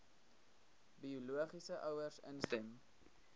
biologiese ouers instem